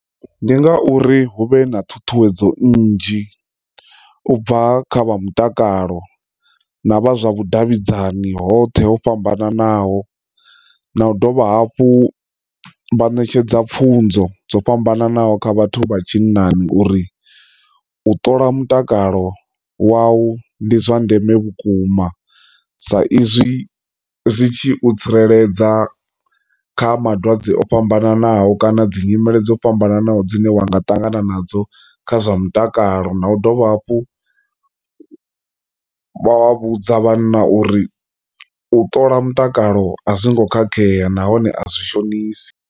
Ndi ngauri hu vhe na ṱhuṱhuwedzo nnzhi ubva kha vha mutakalo na vha zwa vhudavhidzani hoṱhe ho fhambananaho na u dovha hafhu vha ṋetshedza pfunzo dzo fhambananaho kha vhathu vha tshinnani uri u ṱola mutakalo wau ndi zwa ndeme vhukuma sa izwi zwitshi u tsireledza kha malwadze o fhambananaho, kana dzi nyimele dzo fhambananaho dzine wa nga ṱangana nadzo kha zwa mutakalo, na u dovha hafhu vha vha vhudza vhanna uri u ṱola mutakalo a zwongo khakhea nahone a zwi shonisa.